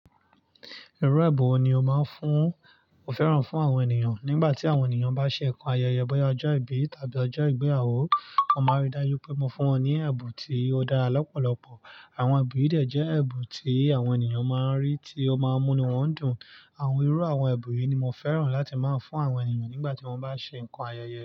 Irú èbùn wo ni o máa fún-- mo fẹ́ràn fún àwọn ènìyàn nígbà tí àwọn ènìyàn bá ṣe nǹkan ayẹyẹ, bọ́ya ọjọ́ ìbí tàbí ọjọ́ ìgbéyàwó. Mọ́ máa rí dájú wipé mo fún wọn ní ẹ̀bùn tí ó dára lọ́pọ̀lọpọ̀. Àwọn èbùn yìí de jẹ́ ẹ̀bùn tí àwọn ènìyàn máa rí, tí ó máa múni wọ́n dùn. Àwọn irú àwọn èbù yìí ni mo fẹ́ràn láti máa fún àwọn ènìyàn nígbà tí wọ́n bá ṣe nǹkan ayẹyẹ.